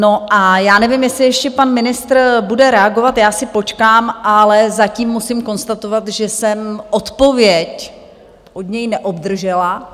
No a já nevím, jestli ještě pan ministr bude reagovat, já si počkám, ale zatím musím konstatovat, že jsem odpověď od něj neobdržela.